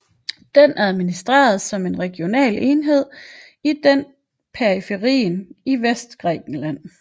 Den administreres som en regional enhed i den periferien i vestgrækenland